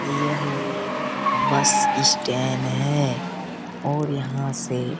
यह एक bus stand है और एक यहाँ से --